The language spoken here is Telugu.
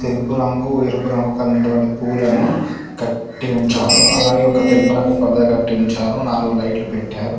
నలుపు రంగు ఎరుపు రంగు కలిగినటువంటి పూలను కట్టి ఉంచారు అలాగే ఒక తెలుపు రంగు పరదగట్టి ఉంచారు నాలుగు లైట్లు పెట్టారు.